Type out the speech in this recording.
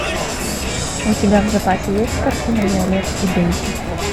у тебя в запасе есть картина виолет и дейзи